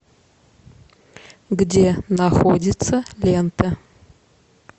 где находится лента